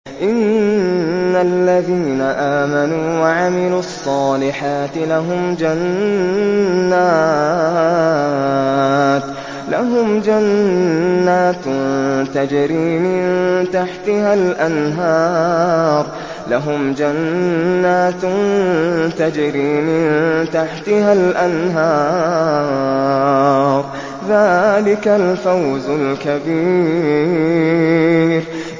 إِنَّ الَّذِينَ آمَنُوا وَعَمِلُوا الصَّالِحَاتِ لَهُمْ جَنَّاتٌ تَجْرِي مِن تَحْتِهَا الْأَنْهَارُ ۚ ذَٰلِكَ الْفَوْزُ الْكَبِيرُ